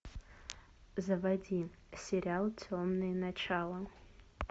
заводи сериал темные начала